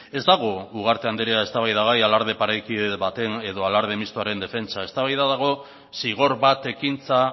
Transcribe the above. ez dago ugarte andrea eztabaidagai alarde parekide baten edo alarde mistoaren defentsa eztabaida dago zigor bat ekintza